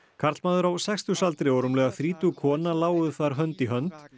karlmaður á sextugsaldri og rúmlega þrítug kona lágu þar hönd í hönd